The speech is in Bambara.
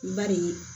Bari